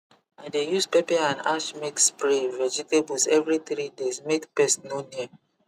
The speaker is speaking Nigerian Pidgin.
i dey use pepper and ash mix spray vegetables every three days make pest no near